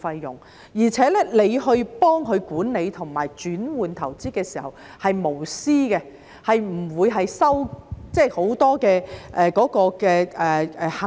而且幫助市民管理和轉換投資的時候是無私的，不會收取很多行政費。